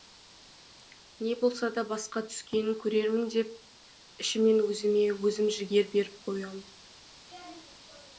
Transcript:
не болса да басқа түскенін көрермін деп ішімнен өзіме өзім жігер беріп қоямын